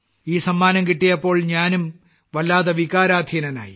ഈ സമ്മാനം കിട്ടിയപ്പോൾ ഞാനും വല്ലാതെ വികാരാധീനനായി